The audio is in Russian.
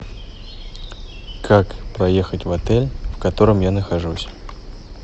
как проехать в отель в котором я нахожусь